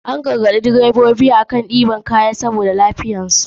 An garagaɗi drebobi akan ɗiban kaya fiye da kima saboda lafiyar tayarsu.